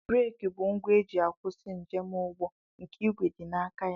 Breeki bụ ngwa e ji akwụsị njemụgbọ nke ìgwè dị n'aka ya